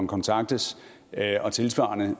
kontaktes og tilsvarende